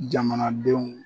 Jamanadenw